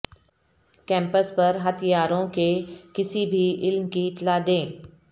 campus پر ہتھیاروں کے کسی بھی علم کی اطلاع دیں